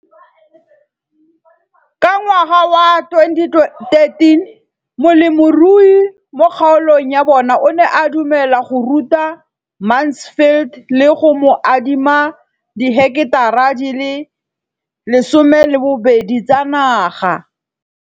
Ka ngwaga wa 2013, molemirui mo kgaolong ya bona o ne a dumela go ruta Mansfield le go mo adima di heketara di le 12 tsa naga.